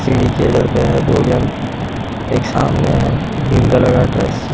सीधी के लड़के हैं दो जन एक सामने हैं इनका लगाकर --